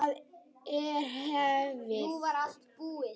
Það er hefð!